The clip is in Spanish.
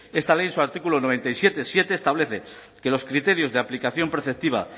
esta ley en su artículo noventa y siete punto siete establece que los criterios de aplicación preceptiva